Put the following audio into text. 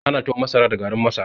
Ana tuwon masara da garin masara